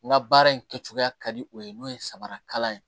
N ka baara in kɛcogoya ka di o ye n'o ye samarakalan ye